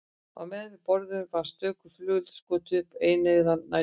Á meðan við borðuðum var stöku flugeldi skotið upp á eineygðan næturhimininn.